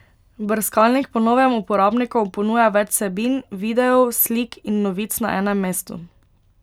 Brskalnik po novem uporabnikom ponuja več vsebin, videov, slik in novic na enem mestu.